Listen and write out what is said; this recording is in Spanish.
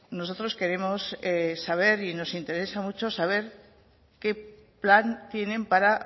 nosotros queremos saber y nos interesa mucho saber qué plan tienen para